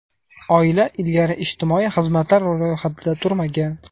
Oila ilgari ijtimoiy xizmatlar ro‘yxatida turmagan.